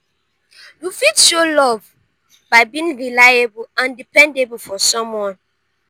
you fit show love by being reliable and dependable for someone.